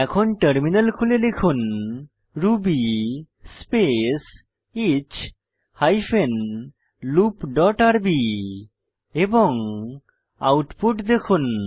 এখন টার্মিনাল খুলে লিখুন Ruby space each hyphen loop dot RB এবং আউটপুট দেখুন